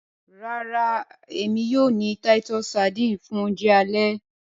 Rárá, èmi yóò ni titus sardines fun Ounjẹ ale